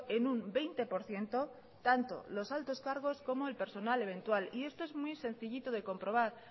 en un veinte por ciento tanto los altos cargos como el personal eventual y esto es muy sencillito de comprobar